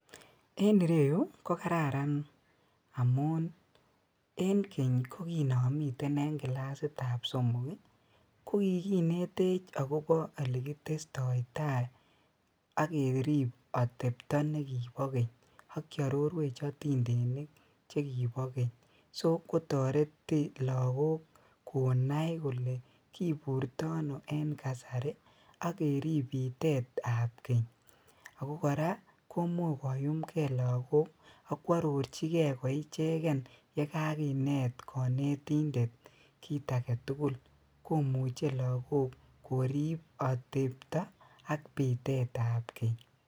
En ireyuu kokararan amuun en keny ko kinomiten en kilasitab somok kokikinetech akobo elekitestoi taai ak keriib atebtoo nekibo keny ak kiororwech atindenik chekibo keny, soo kotoreteti lokok konai kolee kiburtono en kasari ak keriib bitetab keny, akoo kora komuch koyumkee lokok akwororchikee ko icheken yekakinet konetindet kiit aketukul, komuche lokok koriib atebtoo ak biteet ab Keny.